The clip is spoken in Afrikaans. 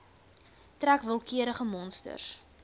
trek willekeurige monsters